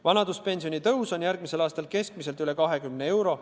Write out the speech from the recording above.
Vanaduspensioni kasv on järgmisel aastal keskmiselt üle 20 euro.